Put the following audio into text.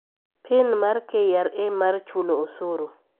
Pin mar KRA mar chulo osuru